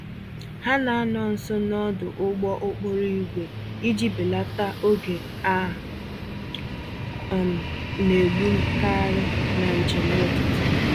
Ha na-anọ nso n'ọdụ ụgbọ-okporo-ígwè iji belata oge a um naegbu-karị, na njem ụtụtụ.